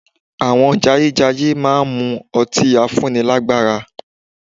Àwọn jayéjayé máa mu ọtí afúnnilágbàra